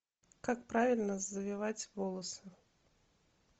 как правильно завивать волосы